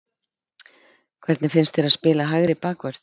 Hvernig finnst þér að spila hægri bakvörð?